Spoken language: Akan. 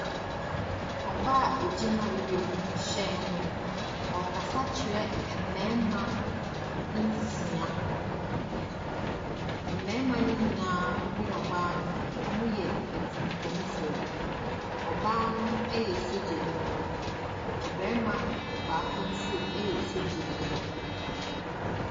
Ɔbaa a ɔgyina wiemhyɛn ho. Ɔrekasa kyerɛ mmarima nsia. Mmarimano nyinaa ne ɔbaa, wɔyɛ atunyumfoɔ. Ɔbaa noo yɛ sogyanyi. Ɔbarima baako nso yɛ sogyani.